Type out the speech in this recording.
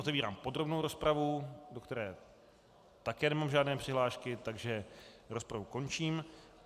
Otevírám podrobnou rozpravu, do které také nemám žádné přihlášky, takže rozpravu končím.